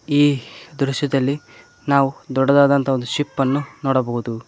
ಈ ದೃಶ್ಯದಲ್ಲಿ ನಾವು ದೊಡ್ಡದಾದಂತಹ ಒಂದು ಶಿಪ್ ಅನ್ನು ನೋಡಬಹುದು.